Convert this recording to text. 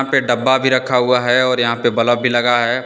डब्बा भी रखा हुआ है और यहां पे बल्ब भी लगा है।